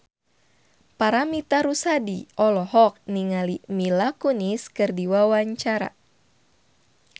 Paramitha Rusady olohok ningali Mila Kunis keur diwawancara